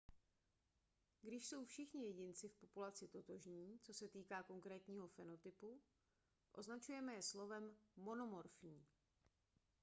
když jsou všichni jedinci v populaci totožní co se týká konkrétního fenotypu označujeme je slovem monomorfní